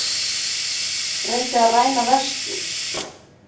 Reyndi að ræna verslun